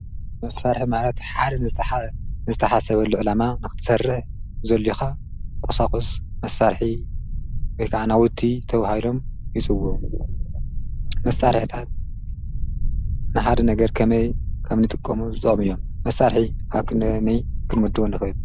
መሳርሒ ማለት ናይ ዕለታዊ ንጥፈታትካ ንምቅላል ዝጠቅም እዩ ። መሳርሒ ኣብ ክንደይ ይኽፈሉ?